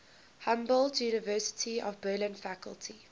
humboldt university of berlin faculty